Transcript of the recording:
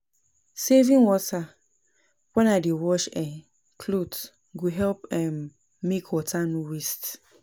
Saving water when I dey wash um cloth go help um make water no waste.